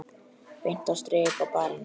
Beint strik á barinn.